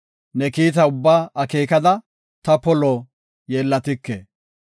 Ne kiita ubbaa akeekada, ta polo yeellatike.